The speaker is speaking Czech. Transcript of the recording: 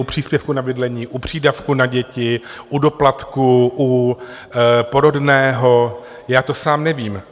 U příspěvku na bydlení, u přídavku na děti, u doplatku, u porodného, já to sám nevím.